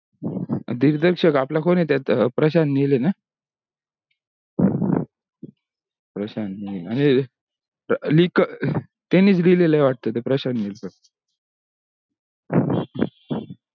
दिरदर्शक आपला कोण हे त्या प्रशांत नील हे ना प्रशांत नील आणि लिख त्यांनीच लिहलेला आहे वाटतो तो प्रशांत नील ने